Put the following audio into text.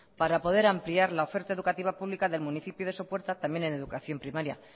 para poder ampliar la oferta educativa pública del municipio de sopuerta también en educación primaria